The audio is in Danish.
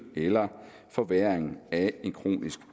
eller forværring af en kronisk